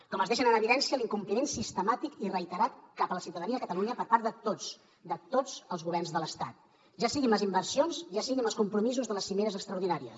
com els deixa en evidència l’incompliment sistemàtic i reiterat cap a la ciutadania de catalunya per part de tots de tots els governs de l’estat ja sigui amb les inversions ja sigui amb els compromisos de les cimeres extraordinàries